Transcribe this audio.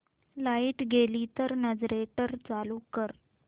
light गेली तर generator चालू कर